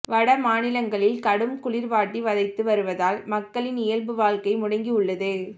வட மாநிலங்களில் கடும் குளிர் வாட்டி வதைத்து வருவதால் மக்களின் இயல்பு வாழ்க்கை முடங்கி உள்ளது